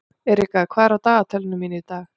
Erika, hvað er á dagatalinu mínu í dag?